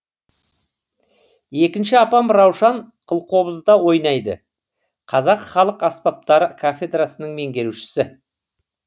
екінші апам раушан қылқобызда ойнайды қазақ халық аспаптары кафедрасының меңгерушісі